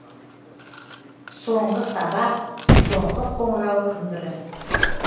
соңғы сабақ соңғы қоңырау күмбірі